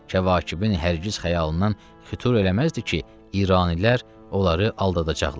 Kəvakibin hər giz xəyalından xütur eləməzdi ki, İranilər onları aldadacaqlar.